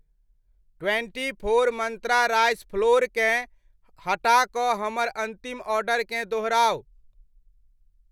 Twenty four Mantra rice flour केँ हटा कऽ हमर अन्तिम ऑर्डरकेँ दोहराउ।